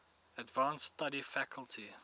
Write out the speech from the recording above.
advanced study faculty